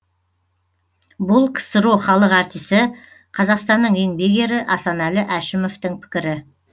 бұл ксро халық артисі қазақстанның еңбек ері асанәлі әшімовтың пікірі